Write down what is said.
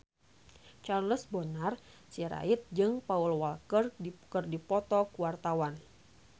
Charles Bonar Sirait jeung Paul Walker keur dipoto ku wartawan